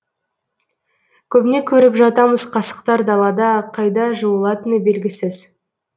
көбіне көріп жатамыз қасықтар далада қайда жуылатыны белгісіз